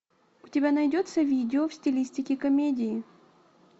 у тебя найдется видео в стилистике комедии